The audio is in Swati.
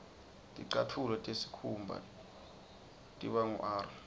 ticatfulo tesikhumba tiba ngur